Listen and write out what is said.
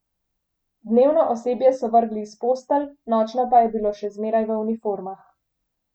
Dnevno osebje so vrgli iz postelj, nočno pa je bilo še zmeraj v uniformah.